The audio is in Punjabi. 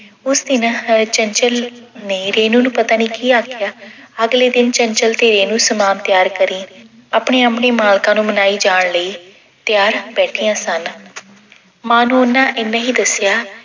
ਉਸ ਦਿਨ ਚੰਚਲ ਨੇ ਰੇਨੂੰ ਨੂੰ ਪਤਾ ਨੀ ਕੀ ਆਖਿਆ ਅਗਲੇ ਦਿਨ ਚੰਚਲ ਤੇ ਰੇਨੂੰ ਸਮਾਨ ਤਿਆਰ ਕਰੀਂ ਆਪਣੇ-ਆਪਣੇ ਮਾਲਕਾਂ ਨੂੰ ਮਨਾਈ ਜਾਣ ਲਈ ਤਿਆਰ ਬੈਠੀਆਂ ਸਨ, ਮਾਂ ਨੂੰ ਉਹਨਾਂ ਏਨਾਂ ਹੀ ਦੱਸਿਆ